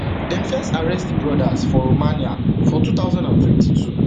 dem first arrest di brothers for romania for two thousand and twenty-two